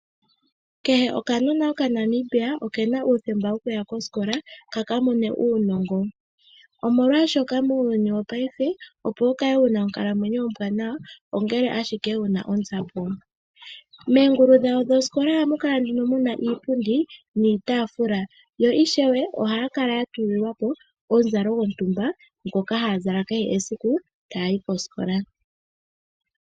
Kehe okanona okaNamibia okena uuthemba wokuya kosikola kakamone uunongo, omolwaashoka muuyuni wo payife opo wukale wuna onkalamwenyo ombwaanawa owapumbwa onzapo. Moongulu dhosikola ohamukala muna iipundi niitafula yo ishewe ohaatulilwapo omuzalo gwosikola ngoka haazala kehe siku taayi kosikola.